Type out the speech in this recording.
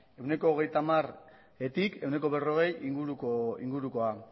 ehuneko hogeita hamartik ehuneko berrogei ingurukoa